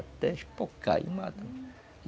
Até espocar e mata.